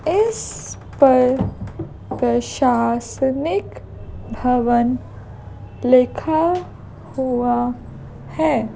इस पर प्रशासनिक भवन लिखा हुआ है।